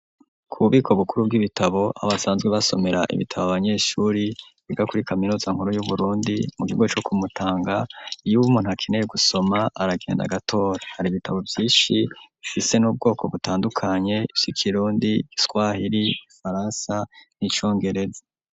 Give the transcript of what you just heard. Ku bubiko bukuru bw'ibitabo, aho basanzwe basomera ibitabo abanyeshuri biga kuri kaminuza nkuru y'Uburundi, mu kigo co ku Mutanga; iyo umuntu akeneye gusoma aragenda agatora, hari ibitabo vyishi bifise n'ubwoko butandukanye, ivy'ikirundi, igiswahiri, igifaransa n'icongereza.